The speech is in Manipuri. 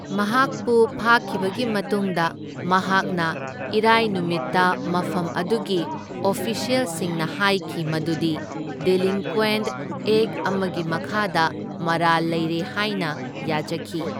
ꯃꯍꯥꯛꯄꯨ ꯐꯥꯈꯤꯕꯒꯤ ꯃꯇꯨꯡꯗ, ꯃꯍꯥꯛꯅ ꯏꯔꯥꯢ ꯅꯨꯃꯤꯠꯇ ꯃꯐꯝ ꯑꯗꯨꯒꯤ ꯑꯣꯐꯤꯁ꯭ꯌꯦꯜꯁꯤꯡꯅ ꯍꯥꯢꯈꯤ ꯃꯗꯨꯗꯤ ꯗꯤꯂꯤꯡꯀ꯭ꯋꯦꯟꯠ ꯑꯦꯛꯠ ꯑꯃꯒꯤ ꯃꯈꯥꯗ ꯃꯔꯥꯜ ꯂꯩꯔꯦ ꯍꯥꯢꯅ ꯌꯥꯖꯈꯤ꯫